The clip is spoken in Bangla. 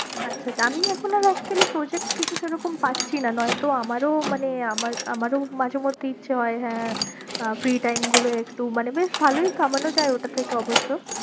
আচ্ছা আচ্ছা, আমি এখনো actually project কিছু সেরকম পাচ্ছি না নয়ে তো আমারো মানে আমার মানে আমারো মাঝে মধ্যে ইচ্ছে হয়ে হ্যাঁ free time গুলো একটু মানে বেশ ভালোই কামানো যায়ে ওটার থেকে অবশ্য।